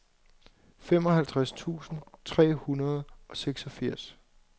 femoghalvtreds tusind tre hundrede og seksogfirs